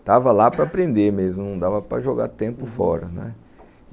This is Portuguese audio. Estava lá para aprender mesmo, não dava para jogar tempo fora.